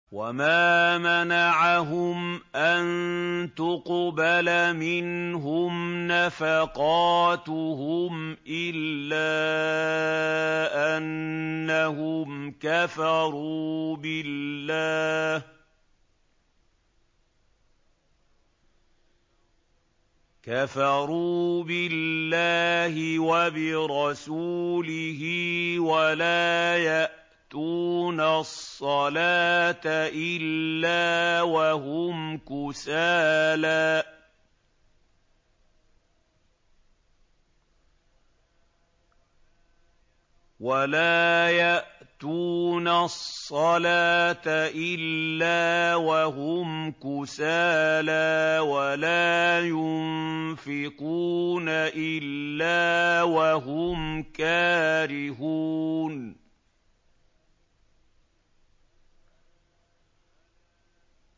وَمَا مَنَعَهُمْ أَن تُقْبَلَ مِنْهُمْ نَفَقَاتُهُمْ إِلَّا أَنَّهُمْ كَفَرُوا بِاللَّهِ وَبِرَسُولِهِ وَلَا يَأْتُونَ الصَّلَاةَ إِلَّا وَهُمْ كُسَالَىٰ وَلَا يُنفِقُونَ إِلَّا وَهُمْ كَارِهُونَ